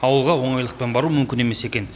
ауылға оңайлықпен бару мүмкін емес екен